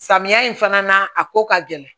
Samiya in fana na a ko ka gɛlɛn